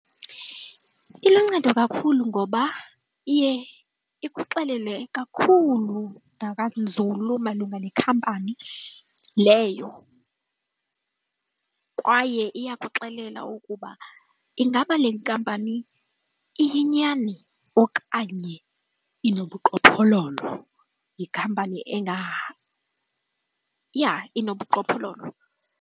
Iluncedo kakhulu ngoba iye ikuxelele kakhulu nakanzulu malunga nekhampani leyo kwaye iyakuxelela ukuba ingaba le nkampani iyinyani okanye inobuqhophololo, yikhampani yha! Inobuqhophololo.